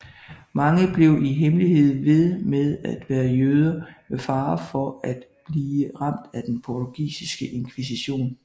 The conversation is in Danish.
Mange blev i hemmelighed ved med at være jøder med fare for at blive ramt af den portugisiske inkvisition